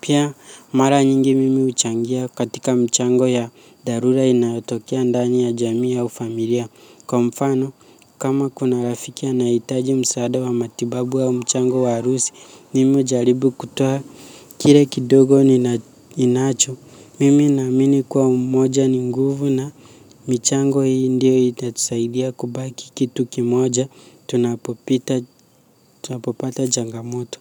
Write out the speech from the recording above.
Pia mara nyingi mimi huchangia katika mchango ya dharura inayotokea ndani ya jamii ya au familia. Kwa mfano, kama kuna rafiki anayehitaji msaada wa matibabu au mchango wa harusi, mimi hujaribu kutoa kile kidogo ninacho. Mimi naamini kuwa umoja ni nguvu na michango hii ndiyo itatusaidia kubaki kitu kimoja, tunapopata changamoto.